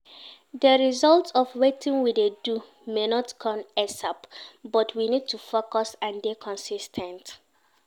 The result of wetin we dey do may not come ASAP but we need to focus and dey consis ten t